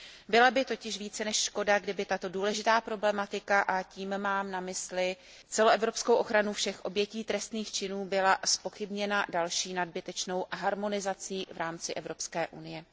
Byla by totiž více než škoda, kdyby tato důležitá problematika, a tím mám na mysli celoevropskou ochranu všech obětí trestných činů, byla zpochybněna další nadbytečnou harmonizací v rámci Evropské unie.